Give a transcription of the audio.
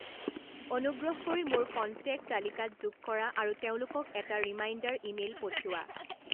অনুগ্ৰহ কৰি মোৰ কণ্টেক্ট তালিকাত যোগ কৰা আৰু তেওঁলোকক এটা ৰিমাইণ্ডাৰ ইমেইল পঠিওৱা